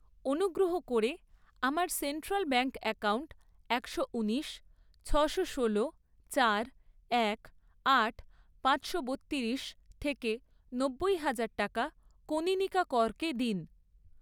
অনুগ্রহ করে আমার সেন্ট্রাল ব্যাঙ্ক অ্যাকাউন্ট একশো উনিশ, ছশো ষোলো, চার, এক, আট, পাঁচশো বত্তিরিশ থেকে নব্বই হাজার টাকা কনীনিকা করকে দিন।